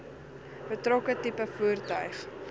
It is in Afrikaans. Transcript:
betrokke tipe voertuig